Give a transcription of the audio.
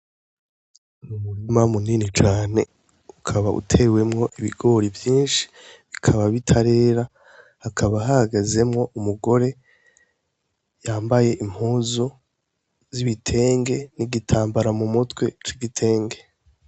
Umurima munini cane ukaba utewemwo ibigori vyinshi bikaba bitarera hakaba hahagazemwo umugore yambaye impuzu z'ibitenge nigitambara mu mutwe c'igitenge.